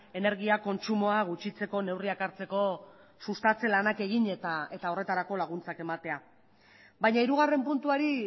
energia kontsumoa gutxitzeko neurriak hartzeko sustatze lanak egin eta horretarako laguntzak ematea baina hirugarren puntuari